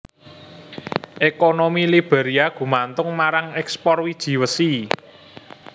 Ekonomi Liberia gumantung marang ekspor wiji wesi